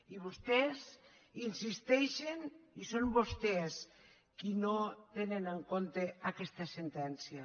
i vostès hi insisteixen i són vostès qui no tenen en compte aquesta sentència